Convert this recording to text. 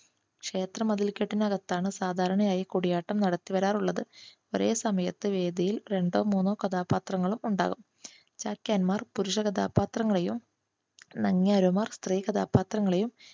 ക്ഷേത്ര മതിൽ കെട്ടിനകത്താണ് സാധാരണയായി കൂടിയാട്ടം നടത്തിവരാറുള്ളത്. ഒരേ സമയത്തു വേദിയിൽ രണ്ടോ മൂന്നോ കഥാപാത്രങ്ങൾ ഉണ്ടാവും. ചാക്യാന്മാർ പുരുഷ കഥാപാത്രങ്ങളെയും നങ്യാരന്മാർ സ്ത്രീ കഥാപാത്രങ്ങളെയും